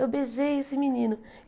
Eu beijei esse menino.